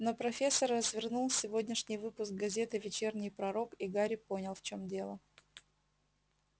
но профессор развернул сегодняшний выпуск газеты вечерний пророк и гарри понял в чем дело